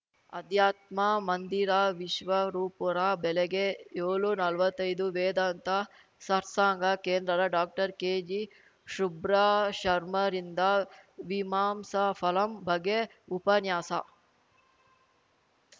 ಅಧ್ಯಾತ್ಮ ಮಂದಿರ ವಿಶ್ವರೂಪುರ ಬೆಳಗ್ಗೆ ಯೋಳುನಲ್ವತ್ತೈದು ವೇದಾಂತ ಸರ್ಸಾಂಗ ಕೇಂದ್ರದ ಡಾಕ್ಟರ್ಕೆಜಿಶುಬ್ರಾಶರ್ಮಾರಿಂದ ಮೀಮಾಂಸಾಫಲಂ ಬಗ್ಗೆ ಉಪನ್ಯಾಸ